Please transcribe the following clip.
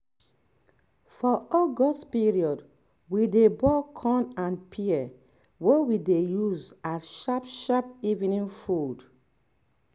for august period we dey boil corn and pear wey we dey use as sharp sharp evening food